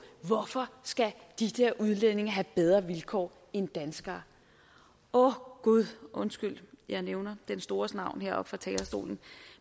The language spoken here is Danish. hvorfor skal de der udlændinge have bedre vilkår end danskere åh gud undskyld jeg nævner den stores navn heroppe fra talerstolen